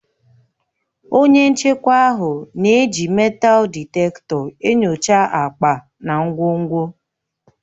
Onye nchekwa ahụ na-eji meetal dịtektọ enyocha akpa na ngwongwo.